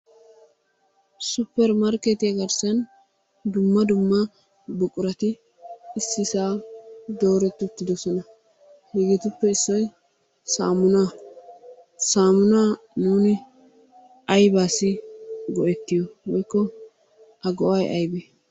Suppermarkketiya garssan dumma dumma buqurati issisan doorerti uttidoosona. Hegetuppe issoy saamunaa. Saamuna nuuni aybbassi go"ettiyo woykko a go"ay aybbe?